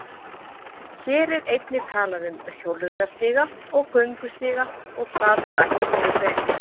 Hér er einnig talað um hjólreiðastíga og göngustíga og það rætt mjög vel.